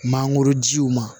Mangoro jiw ma